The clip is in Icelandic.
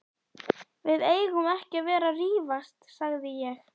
Við eigum ekki að vera að rífast sagði ég.